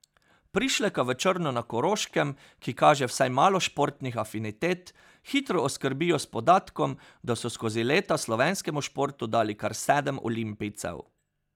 Prišleka v Črno na Koroškem, ki kaže vsaj malo športnih afinitet, hitro oskrbijo s podatkom, da so skozi leta slovenskemu športu dali kar sedem olimpijcev.